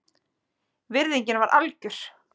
Virðingin var algjör